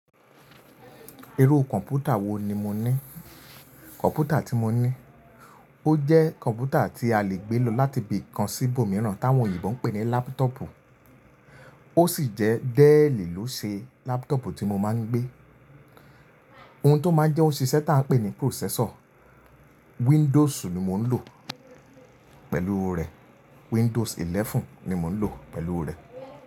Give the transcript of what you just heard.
Irú kọ̀mpútà wo ni mo ní? Kọ̀mpútà tí mo ní ó jẹ́ kọ̀mpútà tí a lè gbẹ́ lò láti ibì kan sí ibòmíràn táwọn oyinbo ń pè ní laptop. Ó sì jẹ́ Dell ló ṣe laptop tí mo máa ń gbé. Ohun tó máa n jẹ́ òṣìṣẹ́ tá a ń pè ní processor. Windows ni mo ń lò pẹ̀lú rẹ̀. Windows 11 ni mo ń lò pẹ̀lú rẹ̀.